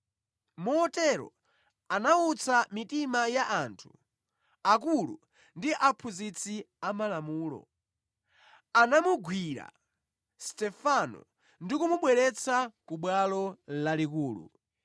Motero anawutsa mitima ya anthu, akulu ndi aphunzitsi amalamulo. Anamugwira Stefano ndi kumubweretsa ku Bwalo Lalikulu.